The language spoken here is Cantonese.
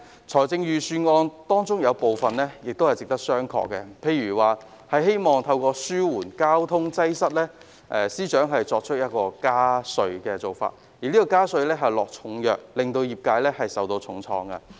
財政預算案中有部分地方值得商榷，譬如司長希望透過加稅紓緩交通擠塞，而這項加稅措施是重藥，會令業界受到重創。